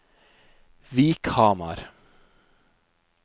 Vikhamar